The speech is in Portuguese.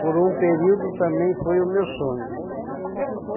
Por um período também foi o meu sonho.